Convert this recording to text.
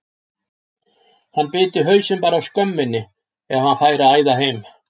Hann biti hausinn bara af skömminni ef hann færi að æða heim.